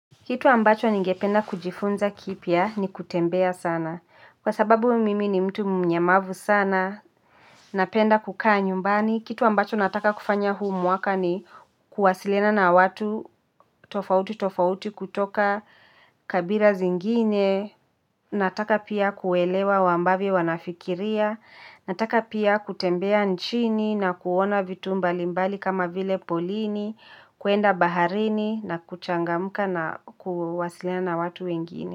Kitu ambacho ningependa kujifunza kipya ni kutembea sana. Kwa sababu mimi ni mtu mnyamavu sana, napenda kukaa nyumbani. Kitu ambacho nataka kufanya huu mwaka ni kuwasiliana na watu tofauti tofauti kutoka kabira zingine. Nataka pia kuelewa ambavyo wanafikiria. Nataka pia kutembea nchini na kuona vitu mbalimbali kama vile polini. Kuenda baharini na kuchangamka na kuwasilina na watu wengine.